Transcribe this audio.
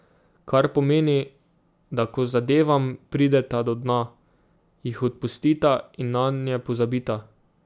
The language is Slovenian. Kar pomeni, da ko zadevam prideta do dna, jih odpustita in nanje pozabita.